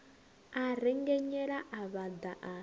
a rengenyela a vhaḓa a